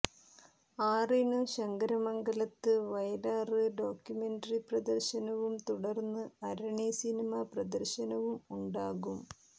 ആറിനു ശങ്കരമംഗലത്ത് വയലാര് ഡോക്യുമെന്ററി പ്രദര്ശനവും തുടര്ന്നു അരണി സിനിമ പ്രദര്ശനവും ഉണ്ടാകും